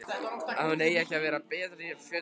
Að hún eigi ekki að bera fötuna.